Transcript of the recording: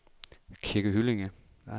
Kirke Hyllinge